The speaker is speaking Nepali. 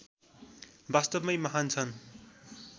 वास्तवमै महान् छन्